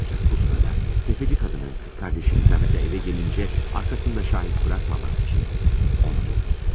Ancaq bu sırada təfəççi qadının qız qardaşı Liza evə gəlincə, arxasında şahid buraxmamaq üçün onu da öldürür.